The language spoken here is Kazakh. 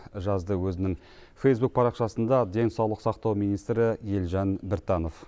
жазды өзінің фейзбук парақшасында денсаулық сақтау министрі елжан біртанов